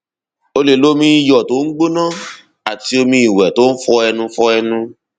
o lè lo omi iyọ tó ń gbóná àti omi ìwẹ tó ń fọ ẹnu fọ ẹnu